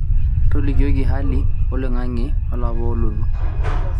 tolikioki hali oloing'ang'e olapa olotu